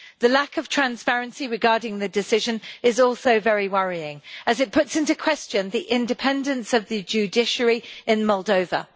The lack of transparency regarding the decision is also very worrying as it calls into question the independence of the judiciary in Moldova.